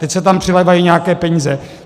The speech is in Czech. Teď se tam přilévají nějaké peníze.